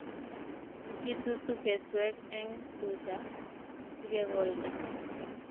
Kitutu keswek eng' tuta sikekolda